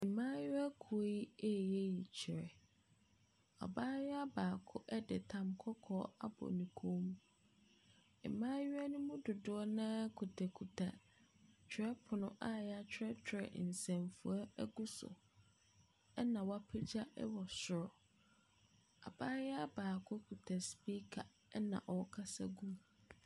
Mmaayewakuo yi ɛyɛ yikyerɛ. Abaayewa baako de tam kɔkɔɔ abɔ ne kɔn mu. Mmaayewa no mu dodoɔ noa kutakuta twerɛpono a yɛatwerɛtwerɛ nsɛmfoa ɛgu so ɛna wɔapegya ɛwɔ soro. Abaayewa baako kuta speaker ɛna ɔkasa gu mu.